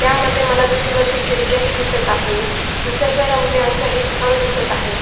त्यामध्ये मला तिथे वरती खिडक्याही दिसत आहे निसर्ग रम्य अस हे स्थळ दिसत आहे.